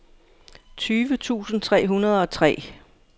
tyve tusind tre hundrede og tre